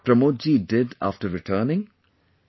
Do you know what Pramod ji did after returning